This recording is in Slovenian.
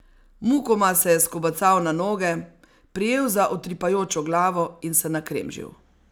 Mukoma se je skobacal na noge, prijel za utripajočo glavo in se nakremžil.